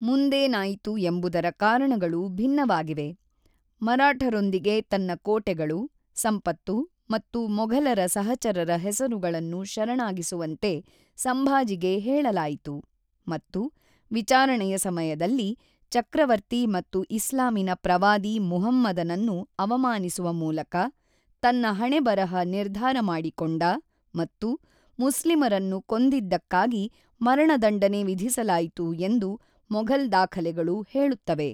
ಮುಂದೇನಾಯಿತು ಎಂಬುದರ ಕಾರಣಗಳು ಭಿನ್ನವಾಗಿವೆ: ಮರಾಠರೊಂದಿಗೆ ತನ್ನ ಕೋಟೆಗಳು, ಸಂಪತ್ತು ಮತ್ತು ಮೊಘಲರ ಸಹಚರರ ಹೆಸರುಗಳನ್ನು ಶರಣಾಗಿಸುವಂತೆ ಸಂಭಾಜಿಗೆ ಹೇಳಲಾಯಿತು ಮತ್ತು ವಿಚಾರಣೆಯ ಸಮಯದಲ್ಲಿ ಚಕ್ರವರ್ತಿ ಮತ್ತು ಇಸ್ಲಾಮಿನ ಪ್ರವಾದಿ ಮುಹಮ್ಮದನನ್ನು ಅವಮಾನಿಸುವ ಮೂಲಕ ತನ್ನ ಹಣೆಬರಹ ನಿರ್ಧಾರ ಮಾಡಿಕೊಂಡ ಮತ್ತು ಮುಸ್ಲಿಮರನ್ನು ಕೊಂದಿದ್ದಕ್ಕಾಗಿ ಮರಣದಂಡನೆ ವಿಧಿಸಲಾಯಿತು ಎಂದು ಮೊಘಲ್ ದಾಖಲೆಗಳು ಹೇಳುತ್ತವೆ.